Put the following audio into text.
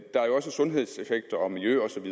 sundhedseffekt og miljøeffekt